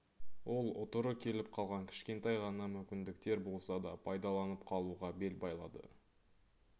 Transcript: ол ұтыры келіп қалған кішкентай ғана мүмкіндіктер болса да пайдаланып қалуға бел байлады